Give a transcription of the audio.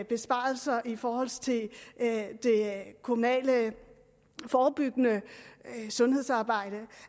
besparelser i forhold til det kommunale forebyggende sundhedsarbejde